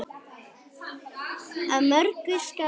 Af mörgu skal mat hafa.